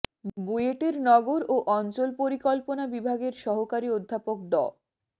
বুয়েটের নগর ও অঞ্চল পরিকল্পনা বিভাগের সহকারী অধ্যাপক ড